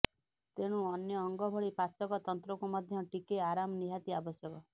ତେଣୁ ଅନ୍ୟ ଅଙ୍ଗଭଳି ପାଚକ ତନ୍ତ୍ରକୁ ମଧ୍ୟ ଟିକେ ଆରାମ ନିହାତି ଆବଶ୍ୟକ